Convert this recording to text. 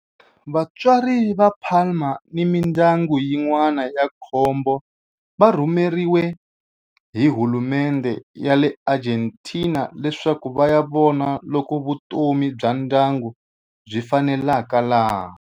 Vatswari va Palma ni mindyangu yin'wana ya nkombo va rhumeriwe hi hulumendhe ya le Argentina leswaku va ya vona loko vutomi bya ndyangu byi faneleka laha.